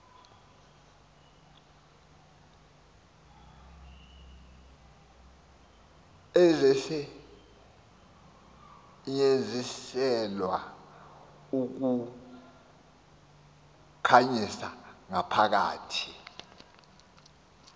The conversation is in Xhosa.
ezisetyenziselwa ukukhanyisa ngaphakathi